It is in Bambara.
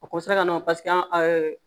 O ka na